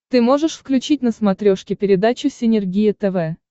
ты можешь включить на смотрешке передачу синергия тв